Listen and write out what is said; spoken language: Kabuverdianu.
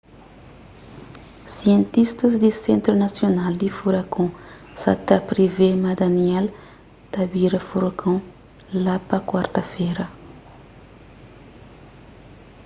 sientistas di sentru nasional di furakon sa ta privê ma danielle ta bira furakon la pa kuarta-fera